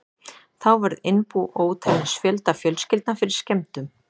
Þá varð innbú ótalins fjölda fjölskyldna fyrir skemmdum.